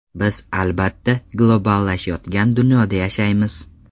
Biz, albatta, globallashayotgan dunyoda yashaymiz.